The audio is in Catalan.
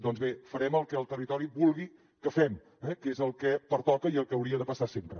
doncs bé farem el que el territori vulgui que fem eh que és el que pertoca i el que hauria de passar sempre